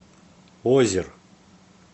озер